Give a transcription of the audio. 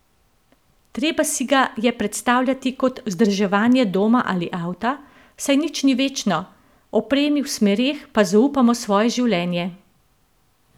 Treba si ga je predstavljati kot vzdrževanje doma ali avta, saj nič ni večno, opremi v smereh pa zaupamo svoje življenje!